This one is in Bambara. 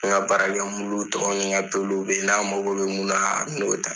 N ka baarakɛ muluw ni , nka peluw bɛ yan n'a mago bɛ mun na a bɛ n'o ta